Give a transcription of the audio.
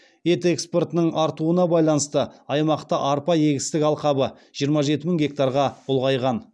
ет экспортының артуына байланысты аймақта арпа егістік алқабы жиырма жеті мың гектарға ұлғайған